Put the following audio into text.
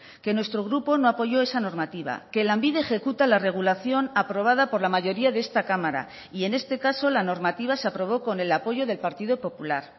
que nuestro grupo no apoyó esa normativa que lanbide ejecuta la regulación aprobada por la mayoría de esta cámara y en este caso la normativa se aprobó con el apoyo del partido popular